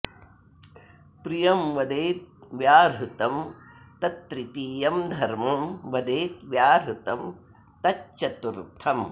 प्रियं वदेद् व्याहृतं तत् तृतीयं धर्मं वदेद् व्याहृतं तच्चतुर्थम्